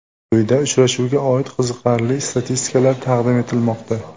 Quyida uchrashuvga oid qiziqarli statistikalar taqdim etilmoqda .